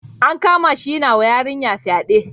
An kamashi yanawa yarinya fyaɗe.